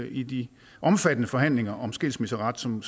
i de omfattende forhandlinger om skilsmisseret som